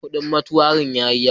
Kudin motuarin ya yi yawa.